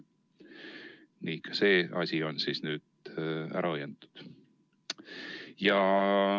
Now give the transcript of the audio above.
" Nii, ka see asi on nüüd siis ära õiendatud.